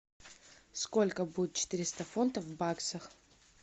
сколько будет четыреста фунтов в баксах